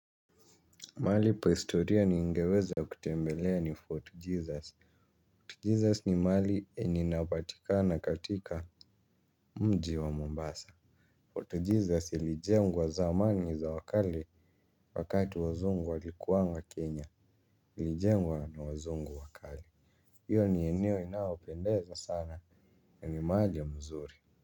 Mali pa historia ni ngeweza kutembelea ni Fort Jesus. Fort Jesus ni mali eni napatikana katika mji wa Mombasa. Fort Jesus ilijengwa zamani za wakale wakati wazungu walikuwanga Kenya. Ilijengwa na wazungu wakale. Iyo ni eneo inaopendeza sana na ni maja mzuri.